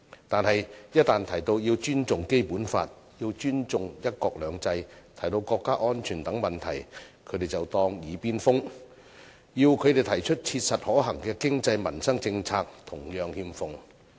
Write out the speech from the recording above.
但是，一旦提到要尊重《基本法》，要尊重"一國兩制"，提到國家安全等問題，他們卻當作"耳邊風"，要他們提出切實可行的經濟民生政策同樣欠奉。